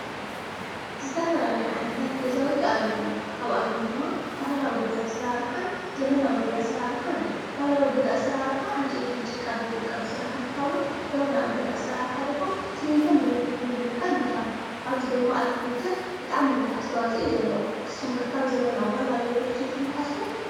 ዝተፈላለዩ ገዛውቲ ኣለውና ካብኣቶም ድማ ባህላውን ኣሰራርሓን ዘመናዊ ገዛ ኣሰራርሓን እዩ። ባህላዊ ገዛ ኣስርርሓ ዕንጨይትን ጭቃን ብምጥቃም ዝስራሕ እንትከውን ዘመናዊ ኣሰራርሓ ድማ ስሚንቶን ብሊኮቶን ብምጥቃም ንስርሖ ኣብዚ ኣርክቴክቸር ብጣዕሚ ብዙሕ ኣስተዋፅኦ እዩ ዘለዎ። ንስኩም ከ ካብ ዘመናዊ ባህላዊ ገዛ ይሓይሽ ኢልኩ ትሓስቡ?